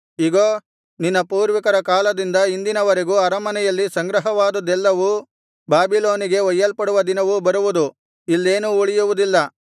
ಇಗೋ ನಿನ್ನ ಪೂರ್ವಿಕರ ಕಾಲದಿಂದ ಇಂದಿನವರೆಗೂ ಅರಮನೆಯಲ್ಲಿ ಸಂಗ್ರಹವಾದದ್ದೆಲ್ಲವೂ ಬಾಬಿಲೋನಿಗೆ ಒಯ್ಯಲ್ಪಡುವ ದಿನವು ಬರುವುದು ಇಲ್ಲೇನೂ ಉಳಿಯುವುದಿಲ್ಲ